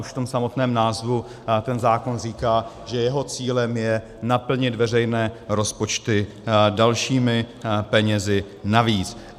Už v tom samotném názvu ten zákon říká, že jeho cílem je naplnit veřejné rozpočty dalšími penězi navíc.